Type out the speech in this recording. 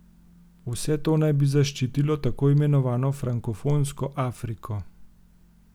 Vse to naj bi zaščitilo tako imenovano frankofonsko Afriko.